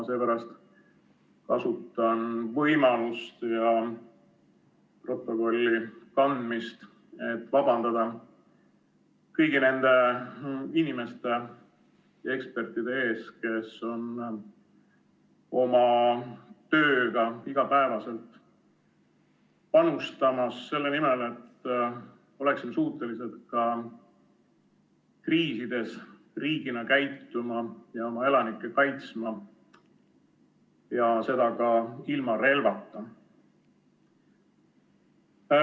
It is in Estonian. Seepärast kasutan võimalust ja protokolli kanda, et vabandada kõigi nende inimeste ja ekspertide ees, kes on oma tööga igapäevaselt panustamas selle nimel, et oleksime suutelised ka kriisides riigina käituma ja oma elanikke kaitsma, seda ka ilma relvata.